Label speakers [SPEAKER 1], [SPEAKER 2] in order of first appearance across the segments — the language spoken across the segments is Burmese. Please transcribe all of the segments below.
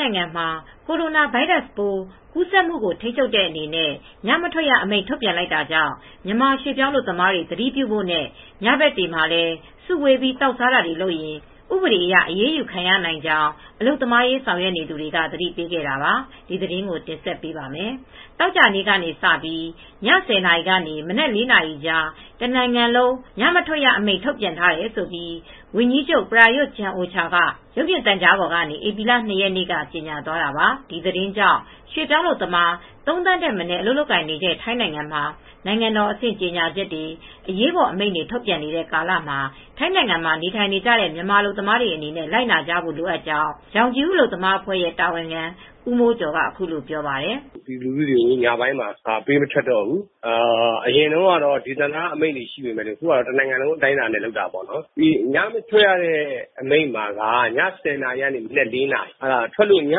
[SPEAKER 1] နိုင်ငံမှာ Coronavirus ပိုးကူးစက်မှု ထိန်းချုပ်တဲ့အနေနဲ့ ညမထွက်ရ အမိန့် ထုတ်ပြန်လိုက်တာကြောင့် မြန်မာရွှေ့ပြောင်းအလုပ်သမားတွေ သတိပြုဖို့နဲ့ ညဘက်တွေမှာလည်း စုဝေးပြီး သောက်စားတွေ လုပ်ရင် ဥပဒေအရ အရေးယူခံနိုင်ကြောင်း အလုပ်သမားရေး ဆောင်ရွက်နေသူတွေက သတိပေးလိုက်တာပါ။ ဒီသတင်းကို မအေးအေးမာ တင်ဆက်ပေးပါမယ်။ သောကြာနေ့ကစပြီး ည ၁၀ နာရီကနေ မနက် ၄ နာရီကြား တနိုင်ငံလုံး ညမထွက်ရ အမိန့်ထုတ်ပြန်တယ်လို့ ဝန်ကြီးချုပ် Prayut Chan-o-cha က ရုပ်မြင်သံကြားပေါ်ကနေ ဧပြီလ ၂ရက်နေ့မှာကြေညာသွားတာပါ။ ဒီသတင်းကြောင့်ရွှေ့ပြောင်းအလုပ်သမား ၃သန်းထက်မနည်း အလုပ်လုပ်ကိုင်နေတဲ့ ထိုင်းနိုင်ငံမှာ နိုင်ငံတော်အဆင့် ကြေညာချက်တွေ ၊ အရေးပေါ် အမိန့်တွေ ထုတ်ပြန်နေတဲ့ ကာလမှာ ထိုင်းနိုင်ငံမှာ နေထိုင်နေတဲ့ မြန်မာအလုပ်သမားတွေ လိုက်နာဖို့ လိုအပ်ကြောင်း ရောင်ခြည်ဦး အလုပ်သမား အဖွဲ့ရဲ့တာဝန်ခံဦးမိုးကျော်က အခုလိုပြောပါတယ်။
[SPEAKER 2] “ပြည်သူလူထုတွေကို ညပိုင်းမှာ ပေးမထွက်တော့ဘူး အရင်တုန်းက ဒေသန္တရအမိန့် တွေရှိပေမယ့် အခုဟာက တော့ တနိုင်ငံလုံးအတိုင်းအတာနဲ့ လုပ်တာပေါ့နော်။ ညမထွက်အမိန့်ကတော့ ည ၁၀နာရီကနေ ၄နာရီအတွင်းပါ ။ ည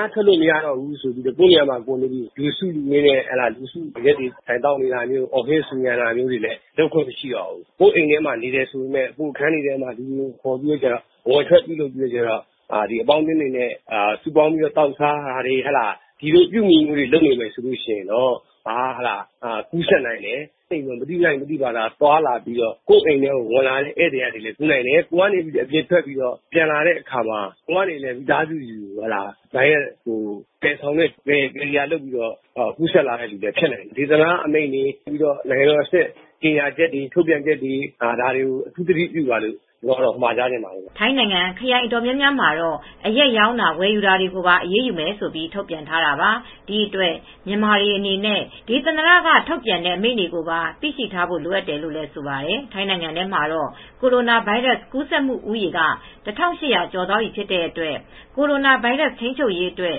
[SPEAKER 2] မထွက်ရဘူးဆိုပြီး ကိုယ်နေရာမှာနေပြီး လူစုလူဝေးနဲ့ အရက်ဝိုင်းစုသောက်နေတာမျိုးတွေအော်ဟစ် ဆူညံတာလည်း လုပ်ခွင့်မရှိဘူး ။ ကိုယ့်အိမ်မှာနေတယ်ဆိုပြီး ကိုယ့်အခန်းတွေမှာ လူတွေကိုခေါ်ပြီးအပေါင်းအသင်းတွေနဲ့ စုဝေးသောက်စားတာ တွေ ဒီအပြုအမူတွေကလည်း ကူးစက်နိုင်တယ်။ မသိလိုက်ပဲ သွားလာနေတဲ့ ကိုယ့်အိမ်ထဲ ဝင်တဲ့လူထဲကလည်း ကူးနိုင်တယ်။ ကိုယ်ကအပြင်ထွက်ပြီး ပြန်လာတဲ့အခါမှာလည်း မိသားစုကို ပြန်သယ်လာတဲ့ သူအဖြစ်လည်း ကူးနိုင်တယ်။ နိုင်ငံတော်အဆင့် ကြေညာချက်တွေနဲ့ ဒေသန္တရာ အမိန့်တွေကို အထူးသတိပြုပါလို့မှာကြားချင်တယ်။”
[SPEAKER 1] ထိုင်းနိုင်ငံ ခရိုင်အတော်အများများမှာတော့ အရက်ရောင်းတာ၊ ဝယ်ယူတာတွေကိုပါ အရေးယူမယ်လို့ ထုတ်ပြန်ထားတာပါ။ ဒီအတွက်မြန်မာတွေအနေနဲ့ ဒေသန္တရက ထုတ်ပြန်ထားတဲ့အမိန့် တွေကိုပါ သိရှိထားဖို့ လိုအပ်တယ်လို့ ဆိုပါတယ်။ ထိုင်းနိုင်ငံမှာတော့ ကိုရိုနာဗိုင်းရပ်ကူးစက်မူ လူဦးရေ က ၁၈၀၀ကျော် သွားပြီဖြစ်တဲ့အတွက် ကိုရိုနာဗိုင်းရပ်စ်ထိန်းချုပ်ရေးအတွက်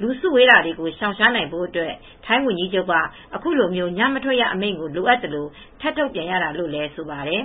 [SPEAKER 1] လူစုဝေးတာတွေကိုရှောင်ရှားနိုင်ဖို့ အတွက် ထိုင်းဝန်ကြီးချုပ်က အခုလိုမျိုး ညမထွက်ရအမိန့်ကိုလိုအပ်သလို ထပ်ထုတ်ပြန်ရတာ ဖြစ်တယ်လို့လည်းဆိုပါတယ်